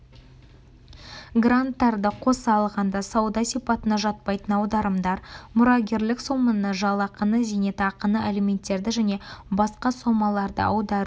гранттарды қоса алғанда сауда сипатына жатпайтын аударымдар мұрагерлік соманы жалақыны зейнетақыны алименттерді және басқа сомаларды аудару